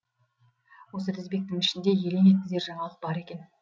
осы тізбектің ішінде елең еткізер жаңалық бар екен